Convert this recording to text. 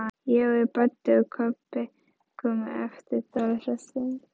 Jói, Baddi og Kobbi komu eftir dálitla stund.